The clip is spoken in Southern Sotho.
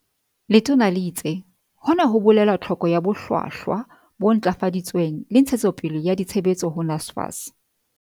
Letona le itse, "Hona ho bolela tlhoko ya bohlwahlwa bo ntlafaditsweng le ntshe tsopele ya ditshebetso ho NSFAS."